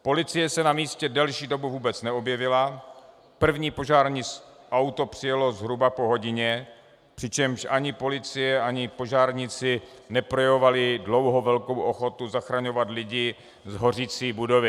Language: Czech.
Policie se na místě delší dobu vůbec neobjevila, první požární auto přijelo zhruba po hodině, přičemž ani policie ani požárníci neprojevovali dlouho velkou ochotu zachraňovat lidi z hořící budovy.